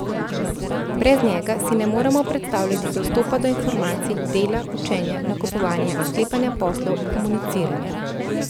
Brez njega si ne moremo predstavljati dostopa do informacij, dela, učenja, nakupovanja, sklepanja poslov, komuniciranja.